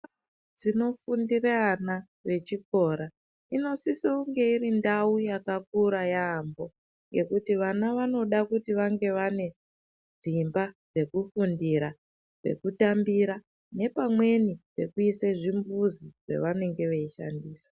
Ndau dzinofundira ana vechikora inosise kunge irindau yakakura yaamho yekuti vana vanoda kuti vange vane dzimba dzekufundira, dzekutambira nepamweni pekuise zvimbuzi zvaanenge veishandisa.